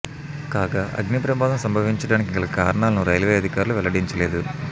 కాగా అగ్ని ప్రమాదం సంభవించడానికి గల కారణాలను రైల్వే అధికారులు వెళ్లడించలేదు